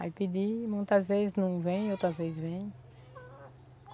Aí pedi, muitas vezes não vem, outras vezes vem.